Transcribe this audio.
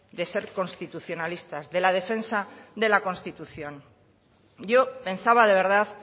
de ser constitucionalistas de la defensa de la constitución yo pensaba de verdad